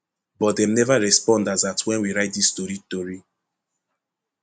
but dem neva respond as at wen we write dis tori tori